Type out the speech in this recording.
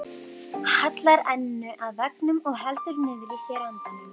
Hallar enninu að veggnum og heldur niðri í sér andanum.